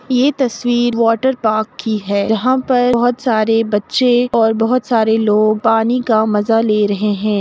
ये तस्वीर water park की है जहाँ पर बच्चे और बहुत सरे लोग पानी का मज़ा ले रहे है |